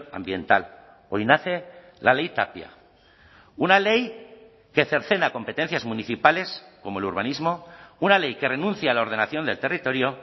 ambiental hoy nace la ley tapia una ley que cercena competencias municipales como el urbanismo una ley que renuncia a la ordenación del territorio